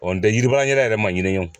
Ɔ nin tɛ yiribaarakɛla yɛrɛ ma